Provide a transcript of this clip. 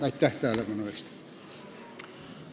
Aitäh tähelepanu eest!